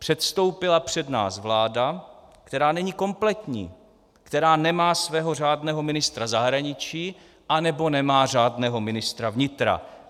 Předstoupila před nás vláda, která není kompletní, která nemá svého řádného ministra zahraničí, anebo nemá řádného ministra vnitra.